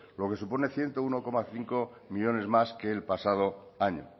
lo que supone ciento uno coma cinco millónes más que el pasado año